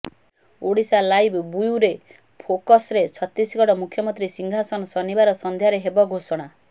Odisha live bureau ଫୋକସ୍ରେ ଛତିଶଗଡ଼ ମୁଖ୍ୟମନ୍ତ୍ରୀ ସିଂହାସନ ଶନିବାର ସନ୍ଧ୍ୟାରେ ହେବ ଘୋଷଣା